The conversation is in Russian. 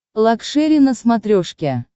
лакшери на смотрешке